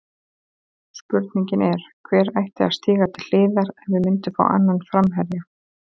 Spurningin er, hver ætti að stíga til hliðar ef við myndum fá annan framherja?